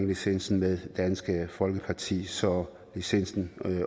licensen med dansk folkeparti så licensen